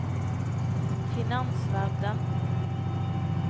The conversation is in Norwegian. finansverden